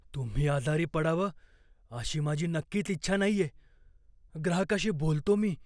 तुम्ही आजारी पडावं अशी माझी नक्कीच इच्छा नाहीये. ग्राहकाशी बोलतो मी.